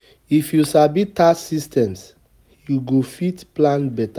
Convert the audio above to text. If yu sabi tax systems, you go fit plan beta